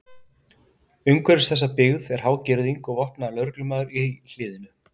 Umhverfis þessa byggð var há girðing og vopnaður lögreglumaður í hliðinu.